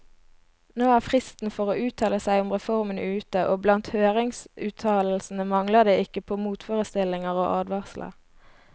Nå er fristen for å uttale seg om reformen ute, og blant høringsuttalelsene mangler det ikke på motforestillinger og advarsler.